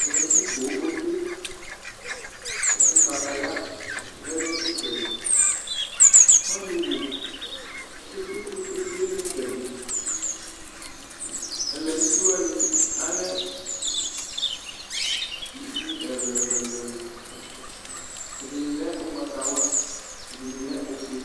ɛlɛnu uti pooo otsue ku kataya lɛnu itsɛdi ɔnuwu kpekpekpekpe tsoe nu itsɛdiɛlɛnu uti wani alɛ ivi ɛlu ɛlu ɛlu ɛdini lɛ ugbatawlaɛdini lɛ ofue